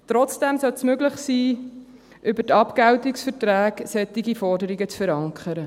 Trotzdem sollte es möglich sein, über die Abgeltungsverträge solche Forderungen zu verankern.